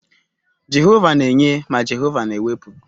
Jehova na-enye ma Jehova na-ewepụ.